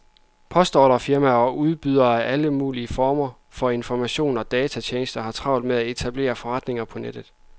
Postordrefirmaer og udbydere af alle mulige former for informationer og datatjenester har travlt med at etablere forretninger på nettet.